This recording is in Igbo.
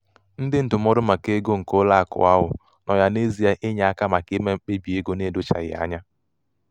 nkesa ebentinyeego nke a gbasara agbasa doziri ngwaahịa agbasa doziri ngwaahịa ebe ntinyekọta ego na ego mbinye nke eweta ọmụrụ dị elu nke ọma.